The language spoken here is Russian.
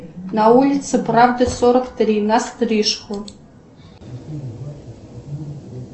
на улице правды сорок три на стрижку